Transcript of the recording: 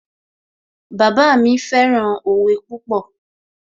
Bàbá mi fẹ́ràn òwe púpọ̀